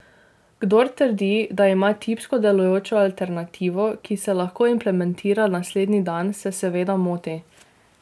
Kdor trdi, da ima tipsko delujočo alternativo, ki se lahko implementira naslednji dan, se seveda moti.